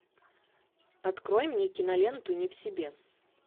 открой мне киноленту не в себе